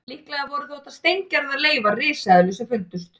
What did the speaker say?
Líklega voru þetta þó steingerðar leifar risaeðlu sem fundust.